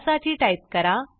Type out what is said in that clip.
त्यासाठी टाईप करा